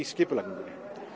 skipulagninguna